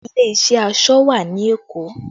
Ilé iṣẹ́ aṣọ wà ní Èkó